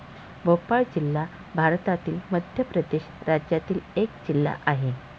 भोपाळ जिल्हा भारतातील मध्य प्रदेश राज्यातील एक जिल्हा आहे.